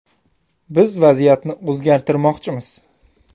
Biz vaziyatni o‘zgartirmoqchimiz.